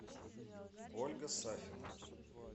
ольга сафина